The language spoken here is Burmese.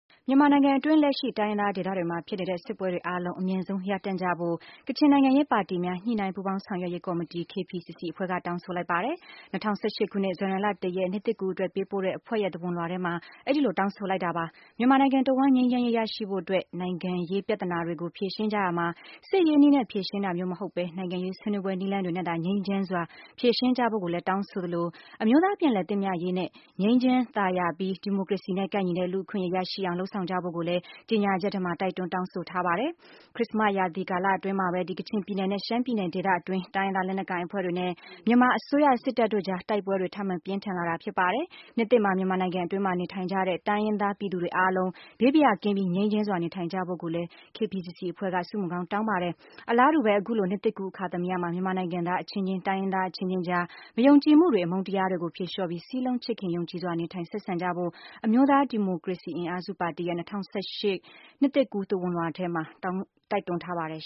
မြန်မာနိုင်ငံအတွင်း လက်ရှိ တိုင်းရင်းသားဒေသတွေမှာ ဖြစ်နေတဲ့ စစ်ပွဲတွေအားလုံး အမြန်ဆုံး ရပ်တန့်ဖို့ ကချင်နိုင်ငံရေးပါတီများ ညှိနှိုင်းပူးပေါင်းဆောင်ရွက်ရေးကော်မတီ KPCC အဖွဲ့က တောင်းဆိုလိုက်ပါတယ်။ ၂၀၁၈ ခုနှစ် ဇန်နဝါရီလ ၁ရက် နှစ်သစ်ကူးအတွက် ပေးပို့တဲ့ အဖွဲ့ရဲ့ သဝဏ်လွှာ ထဲမှာအဲဒီလို တောင်းဆိုလိုက်တာပါ။ မြန်မာနိုင်ငံတဝှမ်း ငြိမ်းချမ်းရေး ရရှိဖို့အတွက် နိုင်ငံရေး ပြဿနာတွေကို ဖြေရှင်းကြရာမှာ စစ်ရေးနည်းနဲ့ ဖြေရှင်းတာမျိုးမဟုတ်ပဲ၊ နိုင်ငံရေးဆွေးနွေးပွဲ နည်းလမ်းတွေနဲ့သာ ငြိမ်းချမ်းစွာ ဖြေရှင်း ကြဖို့ ကိုလည်း တောင်းဆိုသလို၊ အမျိုးသားပြန်လည်သင့်မြတ်ရေးနဲ့ ငြိမ်းချမ်းသာယာပြီး ဒီမိုကရေစီနဲ့ကိုက်ညီတဲ့ လူ့အခွင့်အရေးရရှိအောင် လုပ်ဆောင်ကြဖို့ ကိုလည်း ကြေညာချက်ထဲမှာ တိုက်တွန်း တောင်းဆိုထားပါတယ်။ ဒီဇင်ဘာလ ခရစ္စမတ် ရာသီကာလအတွင်းမှာပဲ ကချင်ပြည်နယ်နဲ့ ရှမ်းပြည်နယ် ဒေသအတွင်းရှိ တိုင်းရင်းသားလက်နက်ကိုင်အဖွဲ့တွေနဲ့ မြန်မာအစိုးရ စစ်တပ်တို့ကြား တိုက်ပွဲတွေ ထပ်မံပြင်းထန်လာတာဖြစ်ပါတယ်။ နှစ်သစ်မှာ မြန်မာနိုင်ငံအတွင်းမှာ နေထိုင်ကြတဲ့ တိုင်းရင်းသား ပြည်သူတွေအားလုံး ဘေးဘာယာ ကင်းပြီး ငြိမ်းချမ်းစွာ နေထိုင်နိုင်ကြပါစေလို့လည်း KPCC အဖွဲ့က ဆုမွန်ကောင်း တောင်းပါတယ်။ အလားတူပဲ အခုလို နှစ်သစ်ကူး အခါသမယမှာ မြန်မာနိုင်ငံသားအချင်းချင်း၊ တိုင်းရင်းသားအချင်းချင်းအကြား မယုံကြည်မှုတွေ၊ အမုန်းတရားတွေကို ဖြေလျော့ပြီး စည်းလုံး ချစ်ခင် ယုံကြည်စွာ နေထိုင် ဆက်ဆံကြဖို့ အမျိုးသားဒီမိုကရေစီ အင်အားစုပါတီရဲ့ ၂၀၁၈ နှစ်သစ်ကူး သဝဏ်လွှာထဲမှာ တိုက်တွန်းထားပါတယ်